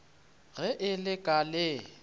ge e le ka le